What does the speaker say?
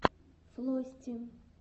флости